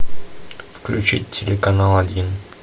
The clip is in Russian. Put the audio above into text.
включить телеканал один